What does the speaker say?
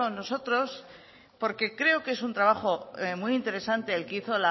nosotros porque creo que es un trabajo muy interesante el que hizo